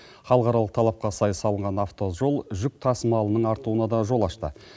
халықаралық талапқа сай салынған автожол жүк тасымалының артуына да жол ашты